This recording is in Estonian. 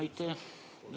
Aitäh!